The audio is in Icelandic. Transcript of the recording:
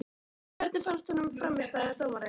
Hvernig fannst honum frammistaða dómarans?